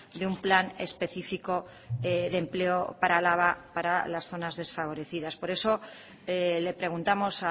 de un plan específico de empleo para álava para las zonas desfavorecidas por eso le preguntamos